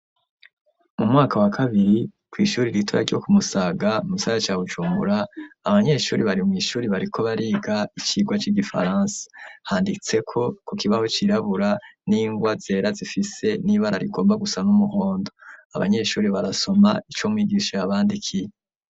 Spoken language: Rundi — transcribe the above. Mu mwaka wa kabiri kw'ishure ritoya ryo kumusaga mugisagara ca bujumbura abanyeshuri bari mw'ishuri bariko bariga icigwa c'igifaransa handitseko ku kibaho cirabura n'ingwa zera zifise n'ibara rigomba gusa n'umuhondo abanyeshuri barasoma ico mwigisha yabandikiye.